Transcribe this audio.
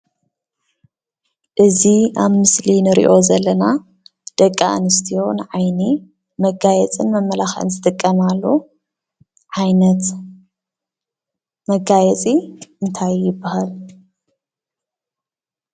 እዚ ኣብ ምስሊ እንሪኦ ዘለና ደቂ ኣንስትዮ ንዓይኒ መጋየፅን መመላኽዕን ዝጥቀማሉ ዓይነት መጋየፂ እንታይ ይብሃል?